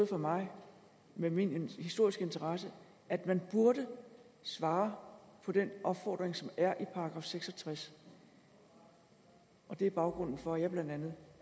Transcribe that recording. for mig med min historiske interesse at man burde svare på den opfordring som er i § seks og tres det er baggrunden for at jeg blandt andet